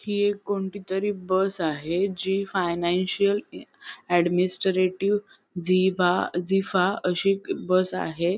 हि एक कोणतीतरी बस आहे जी फायनान्शिअल अ ऍडमिनीस्ट्रेटिव्ह झीबा झीफा अशी बस आहे.